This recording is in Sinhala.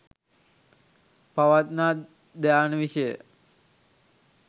පවත්නා ධ්‍යාන විෂය